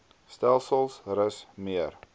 stelsels rus meer